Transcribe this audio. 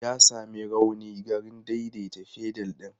Ya sami rauni garin daidaita fedal ɗin.